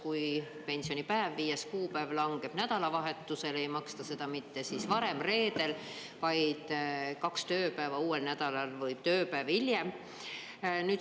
Kui pensionipäev, 5. kuupäev langeb nädalavahetusele, ei maksta seda mitte varem, reedel, vaid kaks tööpäeva, uuel nädalal, või tööpäev hiljem.